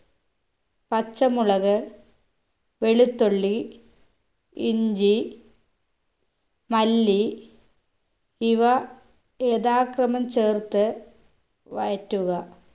പച്ചമുളക് വെളുത്തുള്ളി ഇഞ്ചി മല്ലി ഇവ യഥാക്രമം ചേർത്ത് വഴറ്റുക